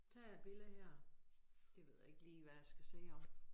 Der er et billede her det ved jeg ikke lige hvad jeg skal sige om